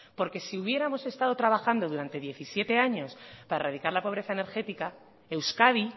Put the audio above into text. porque si hubiéramos estado trabajando durante diecisiete años para erradicar la pobreza energética euskadi